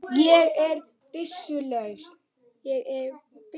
Ég er byssu laus.